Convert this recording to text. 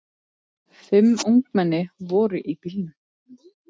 Fimm ungmenni voru í bílnum.